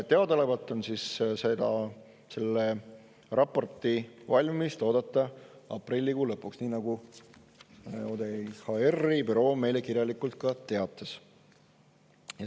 Teadaolevalt on selle raporti valmimist oodata aprillikuu lõpuks, nii nagu ODIHR-i büroo meile kirjalikult teates.